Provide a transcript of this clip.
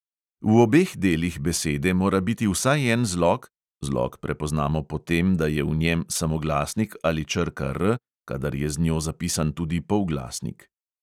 V obeh delih besede mora biti vsaj en zlog (zlog prepoznamo po tem, da je v njem samoglasnik ali črka R, kadar je z njo zapisan tudi polglasnik).